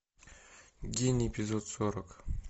день эпизод сорок